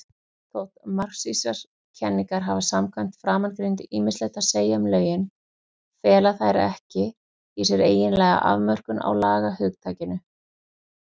Þótt marxískar kenningar hafi samkvæmt framangreindu ýmislegt að segja um lögin, fela þær ekki í sér eiginlega afmörkun á lagahugtakinu.